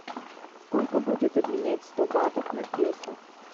сколько будет обменять сто батов на песо